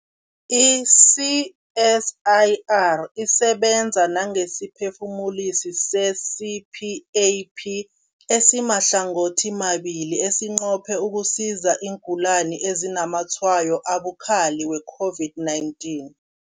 I-CSIR isebenza nangesiphefumulisi se-CPAP esimahlangothimabili esinqophe ukusiza iingulani ezinazamatshwayo abukhali we-COVID-19.